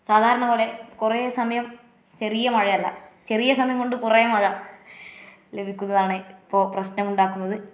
സാദാരണപോലെ കൊറേ സമയം ചെറിയ മഴയല്ല ചെറിയ സമയം കൊണ്ട് കൊറേ മഴ ലഭിക്കുന്നതാണ് ഇപ്പൊ പ്രശനം ഉണ്ടാക്കുന്നത്.